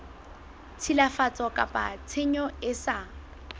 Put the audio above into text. tshilafatso kapa tshenyo e sa